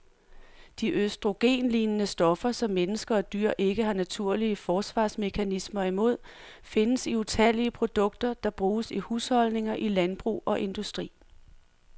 De østrogenlignende stoffer, som mennesker og dyr ikke har naturlige forsvarsmekanismer imod, findes i utallige produkter, der bruges i husholdninger, i landbrug og industri.